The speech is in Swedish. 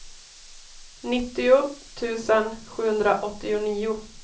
nittio tusen sjuhundraåttionio